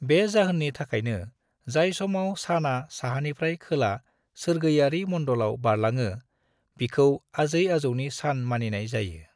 बे जाहोननि थाखायनो, जाय समाव सानआ साहानिफ्राइ खोला सोरगोयारि मण्डलाव बारलाङो, बिखौ आजै आजौनि सान मानिनाय जायो।